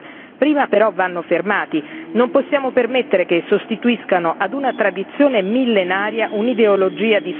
Non possiamo permettere che sostituiscano ad un tradizione millenaria un'ideologia di sopraffazione e di terrore.